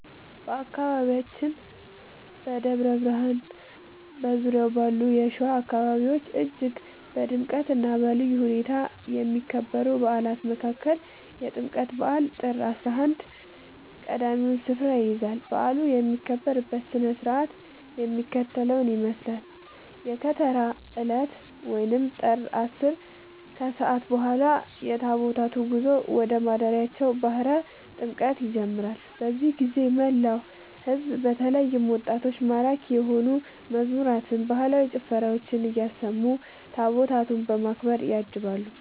በአካባቢያችን በደብረ ብርሃንና በዙሪያው ባሉ የሸዋ አካባቢዎች እጅግ በድምቀትና በልዩ ሁኔታ ከሚከበሩ በዓላት መካከል የጥምቀት በዓል (ጥር 11) ቀዳሚውን ስፍራ ይይዛል። በዓሉ የሚከበርበት ሥነ ሥርዓት የሚከተለውን ይመስላል፦ የከተራ ዕለት (ጥር 10)፦ ከሰዓት በኋላ የታቦታቱ ጉዞ ወደ ማደሪያቸው (ባሕረ ጥምቀቱ) ይጀምራል። በዚህ ጊዜ መላው ሕዝብ በተለይም ወጣቶች ማራኪ የሆኑ መዝሙራትንና ባህላዊ ጭፈራዎችን እያሰሙ ታቦታቱን በክብር ያጅባሉ።